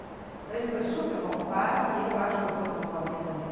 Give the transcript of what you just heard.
Então, ele foi super bom pai e eu acho que eu fui uma boa mãe também.